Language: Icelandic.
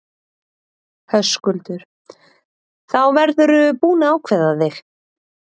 Höskuldur: Þá verðurðu búinn að ákveða þig?